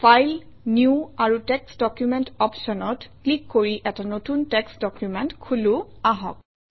file new আৰু text document অপশ্যনত click কৰি এটা নতুন টেক্সট্ ডকুমেণ্ট খোলোঁ আহক